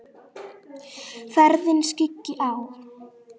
Ferðina skyggi á.